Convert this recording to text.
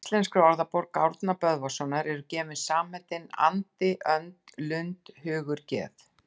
Í Íslenskri orðabók Árna Böðvarssonar eru gefin samheitin andi, önd, lund, hugur, geð